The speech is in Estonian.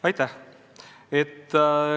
Aitäh!